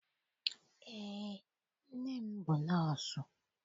Eé, nne m bụ nọọsụ.